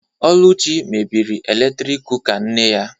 Oluchi mebiri eletrik kụka nne ya